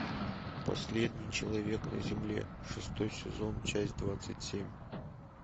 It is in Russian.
последний человек на земле шестой сезон часть двадцать семь